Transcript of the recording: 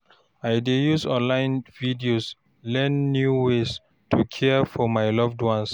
I dey use online videos learn new ways to care for my loved ones.